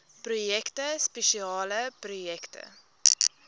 projekte spesiale projekte